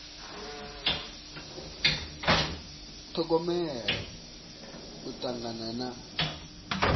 ṱhogomela u tangana na